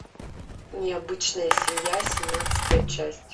необычная семья семнадцатая часть